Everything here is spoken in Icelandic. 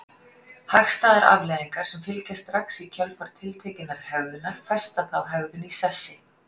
Hagstæðar afleiðingar sem fylgja strax í kjölfar tiltekinnar hegðunar festa þá hegðun í sessi.